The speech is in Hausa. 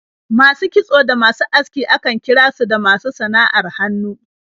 Masu kitso da masu aski akan kira su da masu sana'ar hannu.